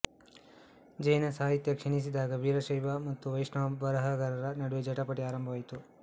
ಜೈನ ಸಾಹಿತ್ಯ ಕ್ಷೀಣಿಸಿದಾಗ ವೀರಶೈವ ಮತ್ತು ವೈಷ್ಣವ ಬರಹಗಾರರ ನಡುವೆ ಜಟಾಪಟಿ ಆರಂಭವಾಯಿತು